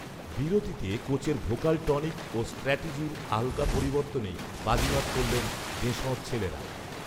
বিরতিতে কোচের vocal tonic ও স্ট্র্যাটেজির হালকা পরিবর্তনেই বাজিমাত করলেন দেশঁর ছেলেরা